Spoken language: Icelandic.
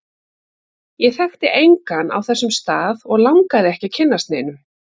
Ég þekkti engan á þessum stað, og langaði ekki að kynnast neinum.